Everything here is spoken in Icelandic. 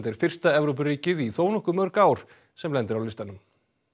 er fyrsta Evrópuríkið í þónokkuð mörg ár sem lendir á listanum